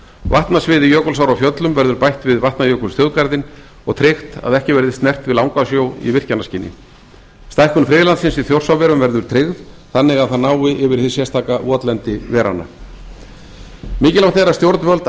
vatnasviði jökulsár á fjöllum verður bætt við vatnajökulsþjóðgarðinn og tryggt að ekki verði snert við langasjó í virkjanaskyni stækkun friðlandsins í þjórsárverum verður tryggð þannig að það nái yfir hið sérstaka votlendi veranna mikilvægt er að stjórnvöld